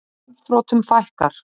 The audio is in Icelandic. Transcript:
Gjaldþrotum fækkar